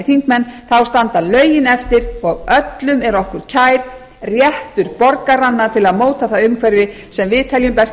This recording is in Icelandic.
þingmenn þá standa lögin eftir og öllum er okkur kær réttur borgaranna til að móta það umhverfi sem við teljum best í